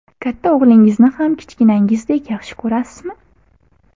Katta o‘g‘lingizni ham kichkinangizdek yaxshi ko‘rasizmi?